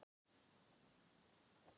Einsog hönd hafi strokið sléttan sand.